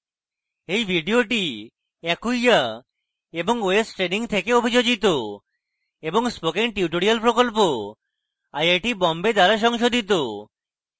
এই video acquia এবং ostraining থেকে অভিযোজিত এবং spoken tutorial প্রকল্প আইআইটি বোম্বে দ্বারা সংশোধিত